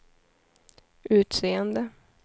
utseende